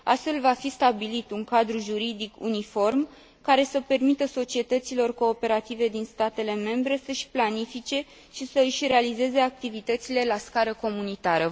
Astfel, va fi stabilit un cadru juridic uniform, care să permită societăților cooperative din statele membre să și planifice și să și realizeze activitățile la scară comunitară.